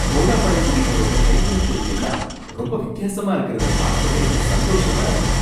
தோடா பழங்குடியினரோட கைவினைப்பொருள் எல்லாம் ரொம்ப வித்தியாசமா இருக்கிறத பாக்கவே சந்தோஷமா இருக்கும்.